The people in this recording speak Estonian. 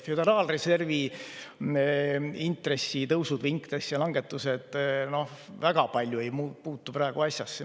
Föderaalreservi intressitõusud või intressilangetused ei puutu praegu väga palju asjasse.